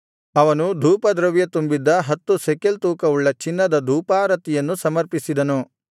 ಅವನು ಧೂಪದ್ರವ್ಯ ತುಂಬಿದ್ದ ಹತ್ತು ಶೆಕೆಲ್ ತೂಕವುಳ್ಳ ಚಿನ್ನದ ಧೂಪಾರತಿಯನ್ನು ಸಮರ್ಪಿಸಿದನು